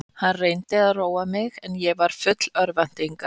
Hann reyndi að róa mig en ég var full örvæntingar.